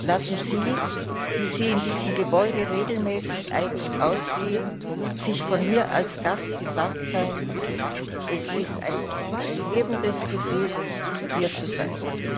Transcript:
Lassen Sie, die Sie in diesem Gebäude regelmäßig ein und aus gehen, sich von mir als Gast gesagt sein Es ist ein erhebendes Gefühl, hier zu sein.